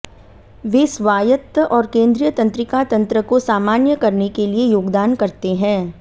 वे स्वायत्त और केंद्रीय तंत्रिका तंत्र को सामान्य करने के लिए योगदान करते हैं